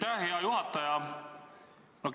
Aitäh, hea juhataja!